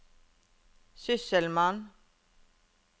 sysselmann